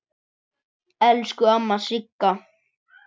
Elsku amma Sigga.